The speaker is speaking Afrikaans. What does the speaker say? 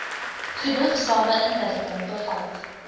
genoegsame inligting bevat